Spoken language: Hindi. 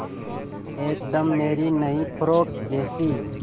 एकदम मेरी नई फ़्रोक जैसी